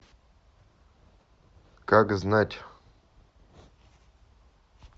как знать